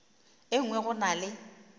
e nngwe go na le